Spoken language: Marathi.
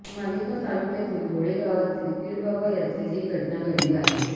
मालेगाव तालुक्यातील घोडेगावातील पिरबाबा यात्रेत ही घटना घडली आहे